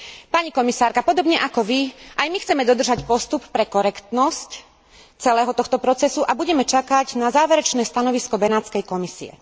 Pani komisárka, podobne ako vy, aj my chceme dodržať postup pre korektnosť celého tohto procesu a budeme čakať na záverečné stanovisko Benátskej komisie.